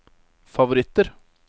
favoritter